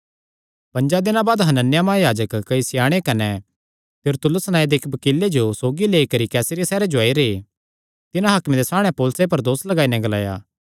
पंजा दिनां बाद हनन्याह महायाजक कई स्याणे कने तिरतुल्लुस नांऐ दे इक्की बकीले जो सौगी लेई करी कैसरिया सैहरे जो आई रैह् तिन्हां हाकमे दे सामणै पौलुसे पर दोस लगाई नैं ग्लाया